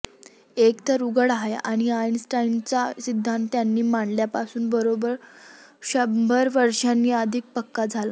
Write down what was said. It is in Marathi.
एक तर उघड आहे की आइन्स्टाइनचा सिद्धांत त्याने मांडल्यापासून बरोब्बर शंभर वर्षांनी अधिक पक्का झाला